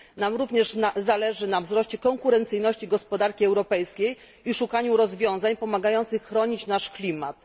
Nam również zależy na wzroście konkurencyjności gospodarki europejskiej i szukaniu rozwiązań pomagających chronić nasz klimat.